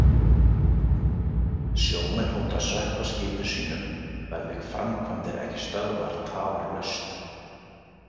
Sjómenn hóta að sökkva skipum sínum verði framkvæmdir ekki stöðvaðar tafarlaust.